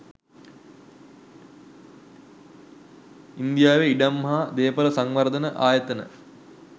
ඉන්දියාවේ ඉඩම් හා දේපොළ සංවර්ධන ආයතන